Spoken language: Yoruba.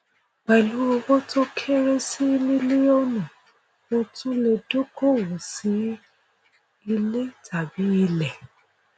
pẹlú owó tó kéré sí mílíọnù o tún lè dókòwò sí ilé tàbí ilẹ